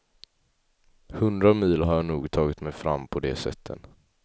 Hundra mil har jag nog tagit mig fram på de sätten.